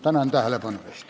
Tänan tähelepanu eest!